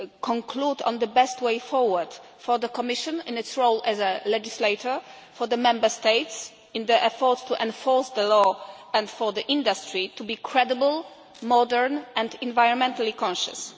conclude on the best way forward for the Commission in its role as a legislator, for the Member States in their efforts to enforce the law, and for the industry to be credible, modern and environmentally conscious.